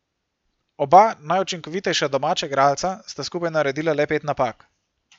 Oba najučinkovitejša domača igralca sta skupaj naredila le pet napak.